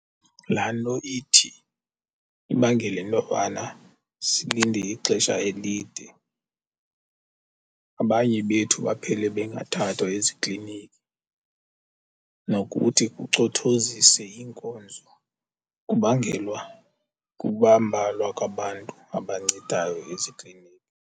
Laa nto ithi ibangele intobana silinde ixesha elide abanye bethu baphele bengathathwa ezikliniki, nokuthi kucothozise iinkonzo kubangelwa kukuba mbalwa kwabantu abancedayo eziklinikhi.